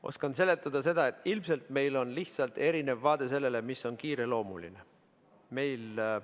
Oskan seletada seda, et ilmselt meil on lihtsalt erinev vaade sellele, mis on kiireloomuline.